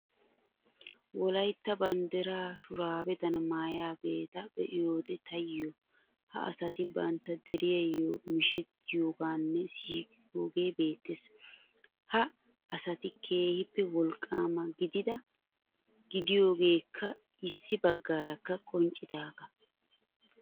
Wolaytta banddiraa shuraabedan maayidaageeta be'iyoode taayyo ha asati bantta deriyaayyo mishettiyoogeenne siiiqiyoogee beettees. Ha asati keehiippe wolqqaama gidida gidiyoogeekka issi baggaarakka qonccidaagaa.